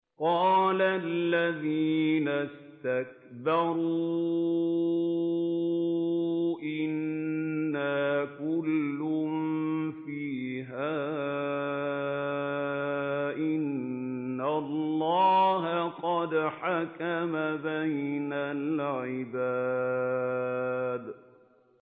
قَالَ الَّذِينَ اسْتَكْبَرُوا إِنَّا كُلٌّ فِيهَا إِنَّ اللَّهَ قَدْ حَكَمَ بَيْنَ الْعِبَادِ